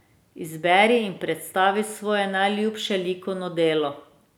Izberi in predstavi svoje najljubše likovno delo.